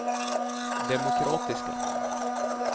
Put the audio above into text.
demokratiska